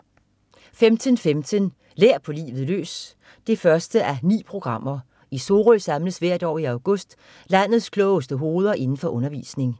15.15 Lær på livet løs 1:9. I Sorø samles hvert år i august landets klogeste hoveder indenfor undervisning